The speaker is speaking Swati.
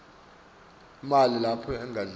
emini lapha edladleni